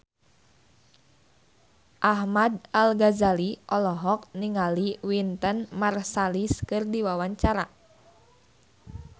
Ahmad Al-Ghazali olohok ningali Wynton Marsalis keur diwawancara